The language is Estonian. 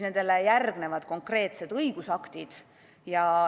Nendele järgnevad konkreetsed õigusaktid.